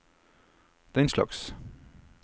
denslags